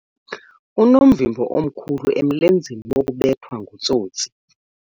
Unomvimbo omkhulu emlenzeni wokubethwa ngutsotsi.